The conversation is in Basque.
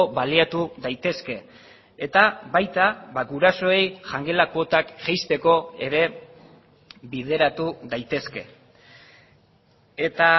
baliatu daitezke eta baita gurasoei jangela kuotak jaisteko ere bideratu daitezke eta